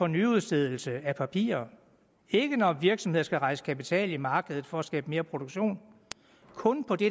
nyudstedelse af papirer ikke når virksomheder skal rejse kapital på markedet for at skabe mere produktion kun på det